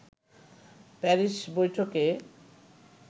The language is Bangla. প্যারিস বৈঠকে